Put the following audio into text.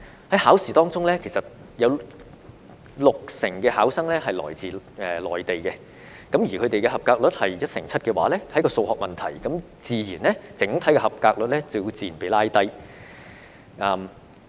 在考試當中，有六成考生來自內地，而他們的及格率只有一成七，這是一個數學問題，整體及格率自然被拉低。